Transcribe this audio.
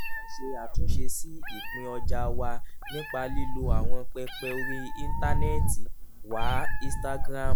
a ń ṣe àtúnṣe sí ìpín ọjà wa nípa lílo àwọn pẹpẹ orí íńtánẹ́ẹ̀tì wa instagram